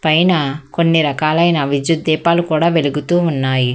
పైనా కొన్ని రకాలైన విద్యుత్ దీపాలు కూడా వెలుగుతూ ఉన్నాయి.